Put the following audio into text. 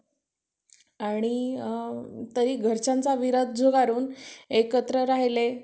Passbook तर main हे bank चं. ते पण त्याची पण xerox मारली मी आता.